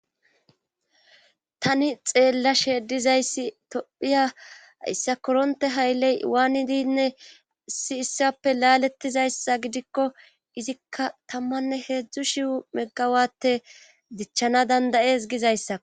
Tani xeella sheedizayssi tophiya yssa koronte haylley waanidinne si issappe laalettizayssa gidikko izikka tammanne heedzdzu shiwu meggawapte gichchana dandayees gizayssa.